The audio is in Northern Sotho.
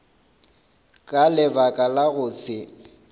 ka lebaka la go se